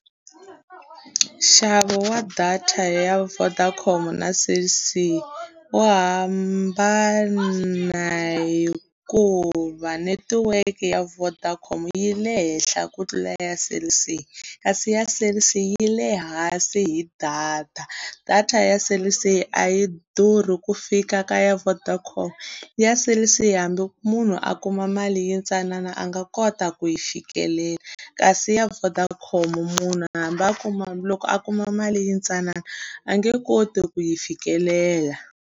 Nxavo wa data ya Vodacom na Cell C wu hambana hikuva netiweke ya Vodacom yi le henhla ku tlula years Cell C, kasi ya Cell C yi le hansi hi data. data ya Cell C a yi durhi ku fika ka ya Vodacom, ya Cell C hambi munhu a kuma mali yintsanana a nga kota ku yi fikelela. Kasi ya Vodacom munhu hambi a kuma loko a kuma mali yintsanana a nge koti ku yi fikelela.